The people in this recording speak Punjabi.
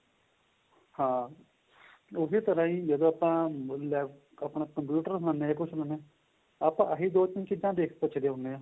ਹਾਂ ਉਸੇ ਤਰ੍ਹਾਂ ਜਿਹੜਾ ਆਪਾਂ ਆਪਣਾ computer ਕੁੱਛ ਲੈਣੇ ਆਂ ਆਪਾਂ ਆਹੀ ਦੋ ਤਿੰਨ ਚੀਜਾਂ ਪੁੱਚਦੇ ਹੁੰਦੇ ਆਂ